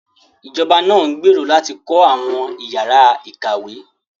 Ìjọba náà ń gbèrò láti kọ́ àwọn ìyára ìkàwé